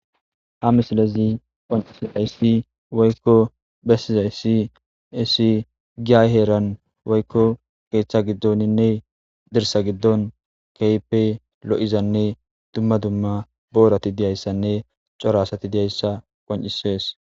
Ha misilazi onisay si woykko bessizay si essi giayheeran woykko keeththa giddoninne dirsa giddon keype lo'izanne dumma dumma boorati diyayssanne coraasati diyayssa qon'isees